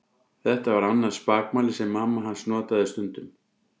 Þetta var annað spakmæli sem mamma hans notaði stundum.